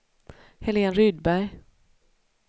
Helén Rydberg